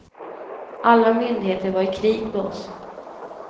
Alla myndigheter var i krig med oss.